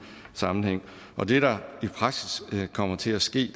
sammenhæng og det der i praksis kommer til at ske